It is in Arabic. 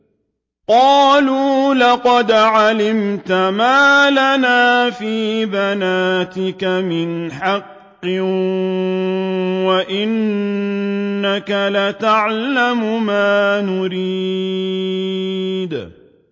قَالُوا لَقَدْ عَلِمْتَ مَا لَنَا فِي بَنَاتِكَ مِنْ حَقٍّ وَإِنَّكَ لَتَعْلَمُ مَا نُرِيدُ